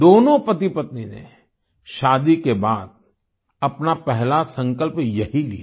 दोनों पति पत्नी ने शादी के बाद अपना पहला संकल्प यही लिया